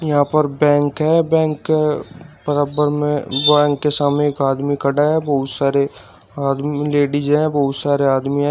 यहां पर बैंक है बैंक बराबर में बैंक के सामने एक आदमी खड़ा है बहुत सारे आदमी लेडिस है बहुत सारे आदमी है।